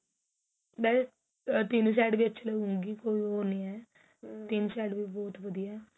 ਤਿੰਨ side ਅੱਛੀ ਲੱਗੂਗੀ ਕੋਈ ਉਹ ਨਹੀਂ ਹੈ ਤਿੰਨ side ਵੀ ਬਹੁਤ ਵਧੀਆ ਏ